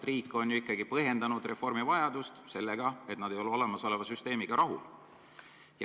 Riik on ju põhjendanud reformi vajadust sellega, et täiturid ei ole olemasoleva süsteemiga rahul.